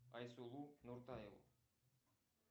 айсулу нуртаеву